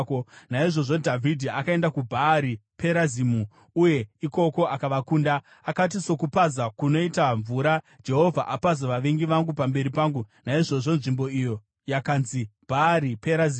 Naizvozvo Dhavhidhi akaenda kuBhaari Perazimu, uye ikoko akavakunda. Akati, “Sokupaza kunoita mvura, Jehovha apaza vavengi vangu pamberi pangu.” Naizvozvo nzvimbo iyo yakanzi Bhaari Perazimu.